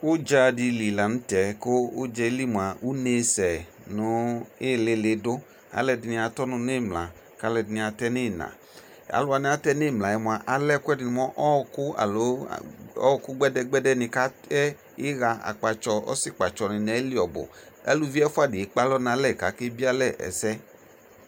Udza de li lantɛ ko udzaɛ li moa unesɛ no ilele do Aluɛde ne atɔ ɔnu no imla ko aluɛde ne atɛ no ina Alu wane atɛ no imla moa alɛ ɛkuɛ de ne mo ɔku alo a , ɔku gbɛdɛgbɛdɛ ne ko atɛ aha, akpatsɔ, ɔsikpatsɔ ne ayili ɔhu Alu ɛfua de ekpe alɔ no alɛ ko ake bie alɛ ɛsɛ